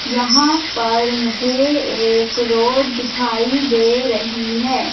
यहां पर मुझे एक रोड दिखाई दे रही है।